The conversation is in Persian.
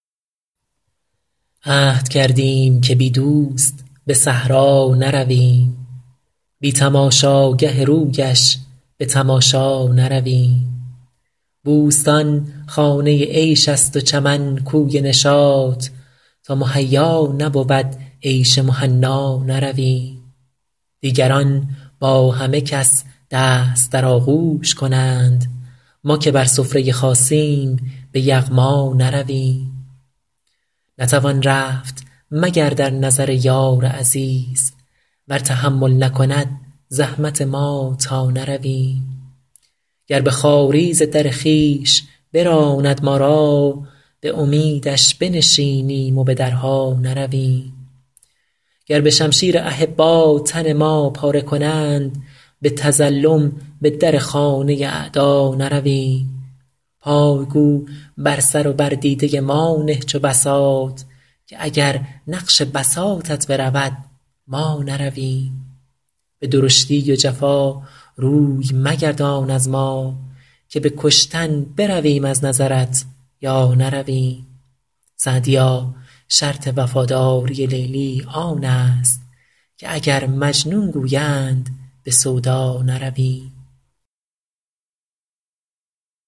عهد کردیم که بی دوست به صحرا نرویم بی تماشاگه رویش به تماشا نرویم بوستان خانه عیش است و چمن کوی نشاط تا مهیا نبود عیش مهنا نرویم دیگران با همه کس دست در آغوش کنند ما که بر سفره خاصیم به یغما نرویم نتوان رفت مگر در نظر یار عزیز ور تحمل نکند زحمت ما تا نرویم گر به خواری ز در خویش براند ما را به امیدش بنشینیم و به درها نرویم گر به شمشیر احبا تن ما پاره کنند به تظلم به در خانه اعدا نرویم پای گو بر سر و بر دیده ما نه چو بساط که اگر نقش بساطت برود ما نرویم به درشتی و جفا روی مگردان از ما که به کشتن برویم از نظرت یا نرویم سعدیا شرط وفاداری لیلی آن است که اگر مجنون گویند به سودا نرویم